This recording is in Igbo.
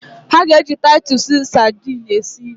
Ude ga-eji tatụsụ sadini esi nri